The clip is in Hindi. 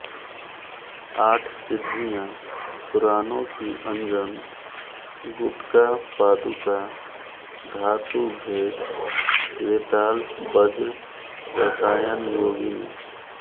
आठ सिद्धियाँ पुराणों की अंजन गुटका पादुका धातुभेद वेताल वज्र रसायन योगिनी